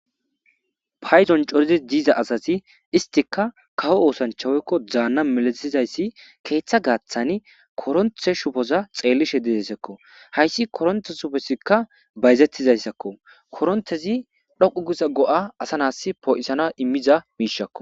Payidoni corid diza asati issitikka kawo osanichcha woyikko Dana misatizayis keththa gaththani koronite dhubiza xeelishe dizayisakko hayisi koronite shubizikka bazetizayisakko koronitez dhoqu giza gooa asa nas poyisanas imiza gookko